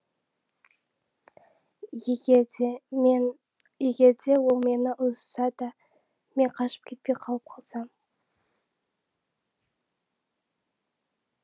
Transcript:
егер де мен егер де ол мені ұрысса да мен қашып кетпей қалып қалсам